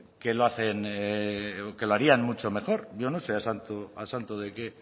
que lo hacen o que lo harían mucho mejor yo no sé a santo de qué